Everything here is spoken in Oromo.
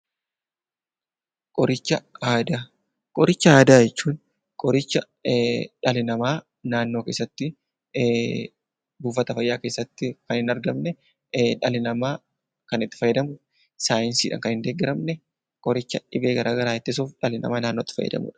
Qoricha aadaa jechuun qoricha dhalli namaa naannoo keessatti, saayinsiidhaan kan hin deeggaramne, buufata fayyaa keessatti kan hin argamne dhibee garaa garaa ittisuuf dhalli namaa gargaaramudha.